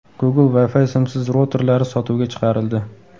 Google Wi-Fi simsiz routerlari sotuvga chiqarildi.